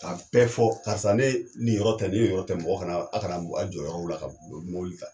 Ka bɛɛ fɔ karisa ne nin yɔrɔ tɛ, nin yɔrɔ tɛ, mɔgɔ kana, aw kana, aw jɔ yɔrɔ la ka mɔbili ta.